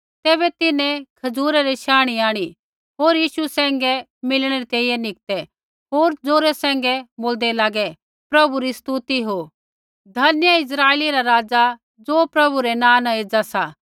तैबै तिन्हैं खजूरै री शाणी आंणी होर यीशु सैंघै मिलणै री तैंईंयैं निकतै होर जौरे सैंघै बोल्दै लागै प्रभु री स्तुति हो धन्य इस्राइला रा राज़ा ज़ो प्रभु रै नाँ न एज़ा सा